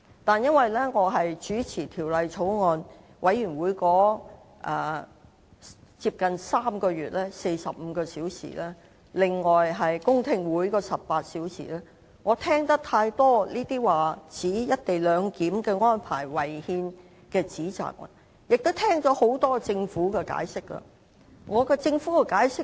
不過，由於我是有關法案委員會的主席，在近3個月時間內曾主持約45個小時的會議，加上18個小時的公聽會，我聽了很多指摘"一地兩檢"安排違憲的發言，亦聽了政府的多番解釋。